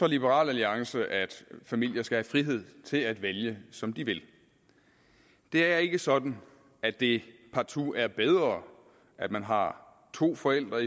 liberal alliance at familier skal have frihed til at vælge som de vil det er ikke sådan at det partout er bedre at man har to forældre